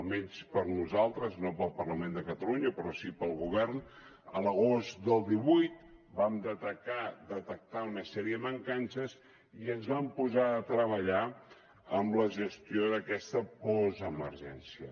almenys per a nosaltres no per al parlament de catalunya però sí per al govern a l’agost del divuit vam detectar una sèrie mancances i ens vam posar a treballar en la gestió d’aquesta postemergència